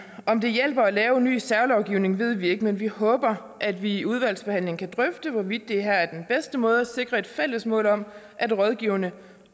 om det hjælper at lave en ny særlovgivning ved vi ikke men vi håber at vi i udvalgsbehandlingen kan drøfte hvorvidt det her er den bedste måde at sikre et fælles mål om at rådgiverne